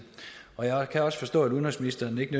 og jeg kan også forstå at udenrigsministeren ikke